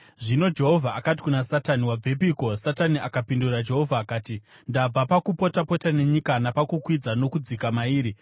Zvino Jehovha akati kuna Satani, “Wabvepiko?” Satani akapindura Jehovha akati, “Ndabva pakupota-pota nenyika napakukwidza nokudzika mairi.”